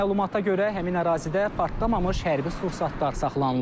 Məlumata görə, həmin ərazidə partlamamış hərbi sursatlar saxlanılıb.